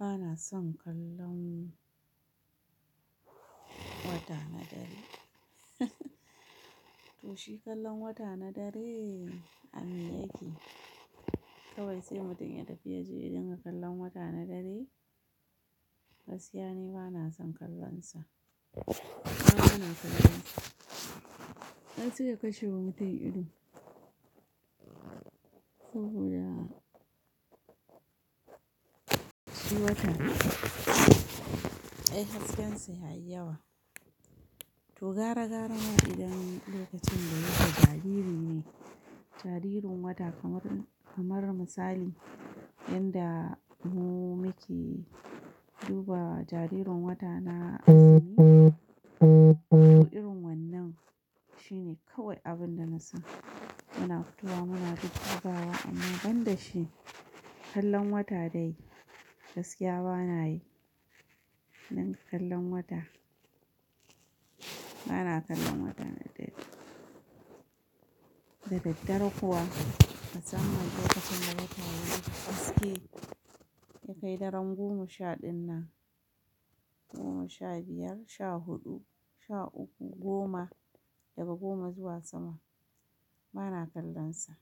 Bana son kallon wata na dare. To shi kallon wata na dare a me yake. Kawai sai mutum ya tafi ya je ya dinga kallon wata na dare, gaskiya ni bana son kallon sa. Bana son kallon sa. Ai sai sai ya kashe wa mutum ido. Saboda shi wata, ai hasken sa ya yi yawa. To gara gara ma idan lokacin da yake jariri ne, jaririn wata kamar, kamar misali yanda mu muke duba jaririn wata na azumi, Toh irin wannan shine kawai abin da na sani Muna fitowa muna duddubawa amma ban da shi kallon wata dai gaskiya bana yi. Nan kallon wata, bana kallon wata na dare. Da daddare kuwa, musamman lokacin da wata yana haske, ya kai daren goma sha ɗin nan, goma sha biyar, sha huɗu, sha uku, goma daga goma zuwa sama, bana kallon sa.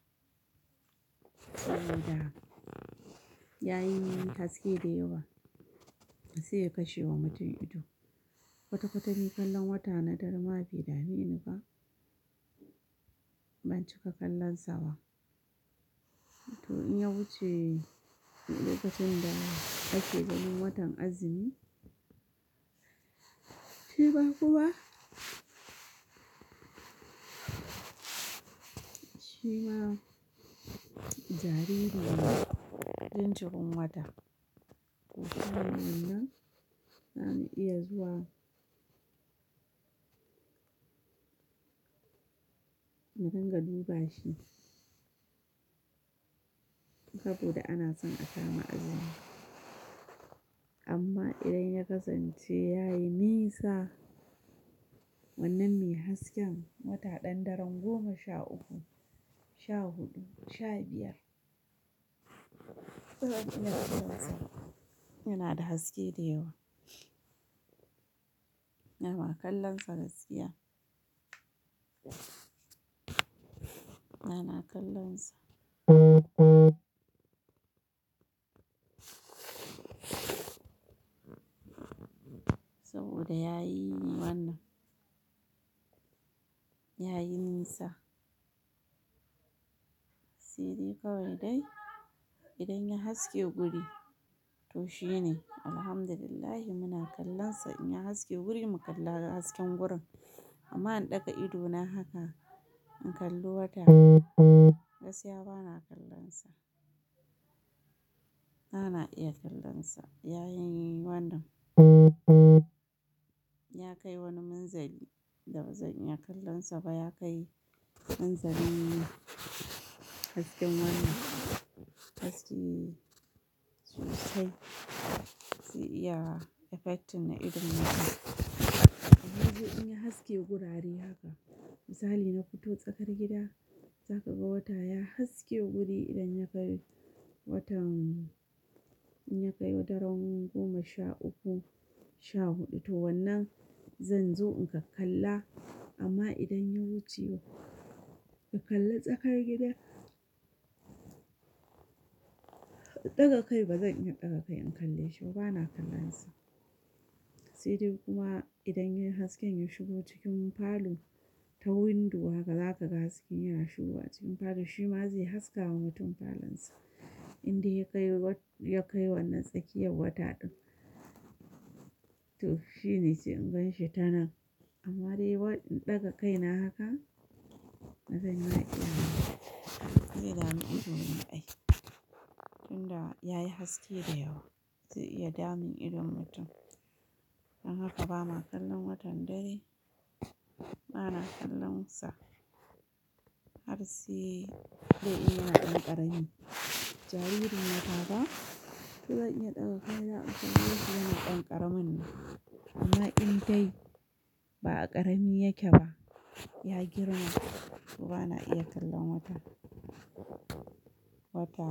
Saboda yayi min haske da yawa, sai ya kashe wa mutum ido. Kwata kwata ni kallon wata na dare ma bai dame ni ba, ban cika kallon sa ba. To in ya wuce lokacin da ake ganin watan azumi, shi ma kuma shi ma jariri ne jinjirin wata To kuma wannan na iya zuwa, in dinga duba shi. Saboda ana son a kama azumi amma idan ya kasance yayi nisa, wannan me hasken wata ɗan daren goma sha uku, sha huɗu, sha biyar, yana da haske da yawa. Ana kallon sa gaskiya, bana kallon sa. Saboda yayi min wannan, yayi nisa. Sadai kawai dai idan ya haske guri, to shi ne Alhamdulillah muna kallon sa. In ya haske guri mu kalla hasken gurin amma in ɗaga ido na haka in kalli wata, gaskiya bana kallon sa. Bana iya kallon sa yayi min wannan. Ya kai wani minzali da bazan iya kallon sa ba. Ya kai minzalin hasken wannan haske Zai iya effecting na idon mutum, saidai in ya haske gurare haka misali na fito tsakar gida za ka ga wata ya haske guri idan ya bar watan In ya kai daren goma sha uku, sha hudu To wannan zan zo in kakkalla, amma idan ya wuce in kalli tsakar gida Kawai kai bazan iya daga kai in kalle shi ba, bana kallon sa Saidai kuma idan ya yi hasken ya shigo cikin falo ta windo zaka ga hasken yana shigowa ka ga shima zai haskawa mutum cikin falonsa indai ya kai wannan tsakiyar wata din Toh shine sai in gan shi ta nan, amma dai wai in daga kaina haka bazan iya iyawa ba, zai damu idanu ai tinda ya yi haske dayawa zai iya damun idon mutum Dan haka bana kallon watan dare, bana kallon sa Har sai in yana dan karami, jaririn wata ba zan iya daga kaina in kalle shi wannan dan karamin dai, amma indai ba'a karami yake ba ya girma, bana iya kallon wata, wata.